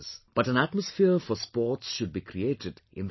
But an atmosphere for sports should be created in the country